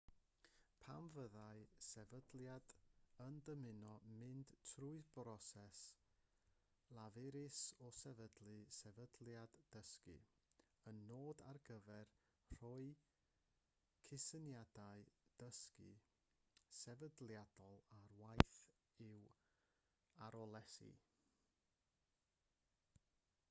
pam fyddai sefydliad yn dymuno mynd trwy'r broses lafurus o sefydlu sefydliad dysgu un nod ar gyfer rhoi cysyniadau dysgu sefydliadol ar waith yw arloesi